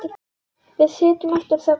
Við sitjum eftir þöglar.